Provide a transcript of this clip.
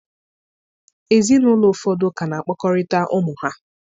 Ezinụlọ ụfọdụ ka na-akpakọrịta ụmụ ha